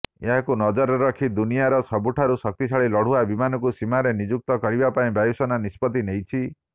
ଏହାକୁ ନଜରରେ ରଖି ଦୁନିଆର ସବୁଠାରୁ ଶକ୍ତିଶାଳୀ ଲଢ଼ୁଆ ବିମାନକୁ ସୀମାରେ ନିଯୁକ୍ତ କରିବାପାଇଁ ବାୟୁସେନା ନିଷ୍ପତି ନେଇଛି